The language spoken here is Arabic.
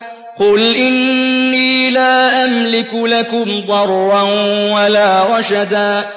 قُلْ إِنِّي لَا أَمْلِكُ لَكُمْ ضَرًّا وَلَا رَشَدًا